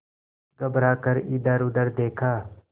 घबरा कर इधरउधर देखा